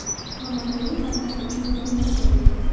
Xomanaiy va Trampning yozma jangi.